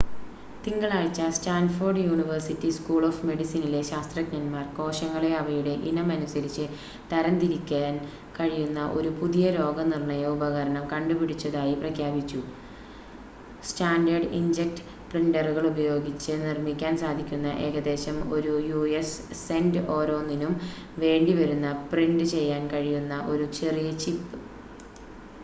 തിങ്കളാഴ്ച്ച Stanford university school of മെഡിസിനിലെ ശാസ്ത്രജ്ഞന്മാർ കോശങ്ങളെ അവയുടെ ഇനം അനുസരിച്ച് തരംതിരിക്കാൻ കഴിയുന്ന ഒരു പുതിയ രോഗനിർണയ ഉപകരണം കണ്ടുപിടിച്ചതായി പ്രഖ്യാപിച്ചു: സ്റ്റാൻഡേർഡ് ഇങ്ക്‌ജെറ്റ് പ്രിന്റ്ററുകൾ ഉപയോഗിച്ച് നിർമ്മിക്കാൻ സാധിക്കുന്ന ഏകദേശം ഒരു യു.എസ് സെന്റ് ഓരോന്നിനും വേണ്ടിവരുന്ന പ്രിന്റ് ചെയ്യാൻ കഴിയുന്ന ഒരു ചെറിയ ചിപ്പ്